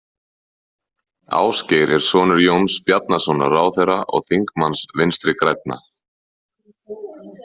Ásgeir er sonur Jóns Bjarnasonar ráðherra og þingmanns Vinstri grænna.